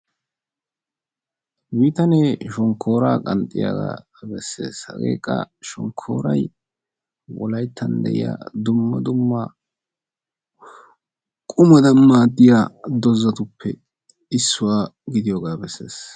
Bitanee shonkkora qanxxiyaaga beessees; hagekka shonkkoray Wolaytta de'iyaa dumma dumma qumadan maadiyaa doozatuppe issuwaa gidiyooga beessees.